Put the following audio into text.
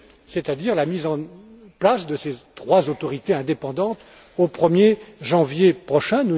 c'est à dire la mise en place de ces trois autorités indépendantes au 1 er janvier prochain.